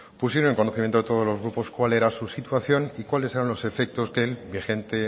pusieron en conocimiento de todos los grupos cuál era su situación y cuáles eran los efectos del vigente